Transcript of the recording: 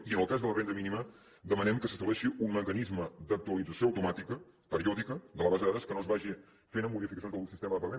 i en el cas de la renda mínima demanem que s’estableixi un mecanisme d’actualització automàtica periòdica de la base de dades que no es vagi fet amb modificacions del sistema de pagament